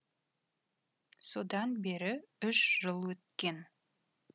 содан бері үш жыл өткен